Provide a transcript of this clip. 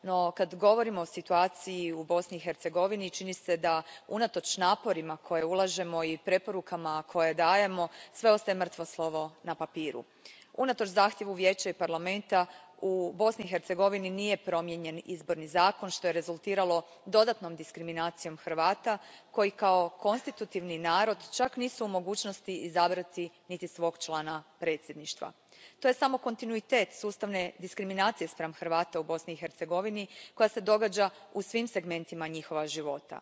No kad govorimo o situaciji u Bosni i Hercegovini čini se da unatoč naporima koje ulažemo i preporukama koje dajemo sve ostaje mrtvo slovo na papiru. Unatoč zahtjevu Vijeća i Parlamenta, u Bosni i Hercegovini nije promijenjen izborni zakon, što je rezultiralo dodatnom diskriminacijom Hrvata koji kao konstitutivni narod čak nisu u mogućnosti izabrati niti svog člana predsjedništva. To je samo kontinuitet sustavne diskriminacije spram Hrvata u Bosni i Hercegovini koja se događa u svim segmentima njihova života.